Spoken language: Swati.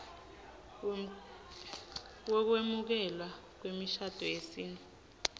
wekwemukelwa kwemishado yesintfu